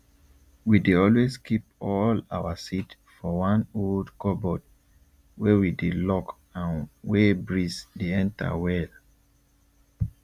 we dey always keep all our seed for one old cupboard wey we dey lock and wey breeze dey enter well